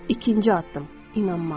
İkinci addım: inanmaq.